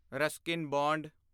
Ruskin bond